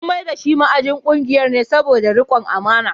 An mai da shi ma’ajin kungiyar ne saboda rikon amana.